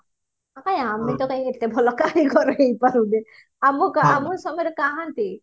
କାଇଁ ଆମେ ତ କାଇଁ ଏତେ ଭଲ କାରିଗର ହେଇପାରୁନେ ଆମ ଆମ ସମୟରେ କାହାନ୍ତି